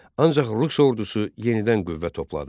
Ancaq rus ordusu yenidən qüvvə topladı.